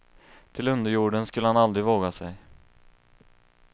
Till underjorden skulle han aldrig våga sig.